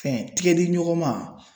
Fɛn tigɛdiɲɔgɔn ma